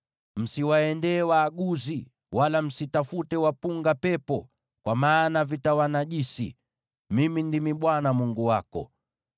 “ ‘Msiende kwa waaguzi, wala msitafute wapunga pepo, kwa maana watawanajisi. Mimi ndimi Bwana Mungu wako.